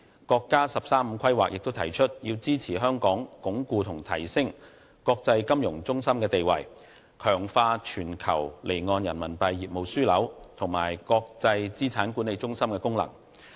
國家"十三五"規劃亦指出，必須支持香港鞏固和提升其國際金融中心的地位，以及強化其全球離岸人民幣業務樞紐和國際資產管理中心的功能。